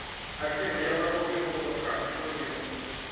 афина я забыл пин код от карты что делать